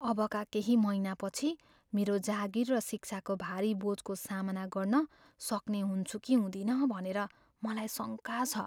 अबका केही महिनापछि मेरो जागिर र शिक्षाको भारी बोझको सामना गर्न सक्ने हुन्छु कि हुँदिन भनेर मलाई शङका छ।